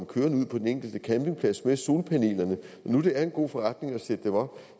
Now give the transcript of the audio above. kørende ud på den enkelte campingplads med solpanelerne når nu det er en god forretning at sætte dem op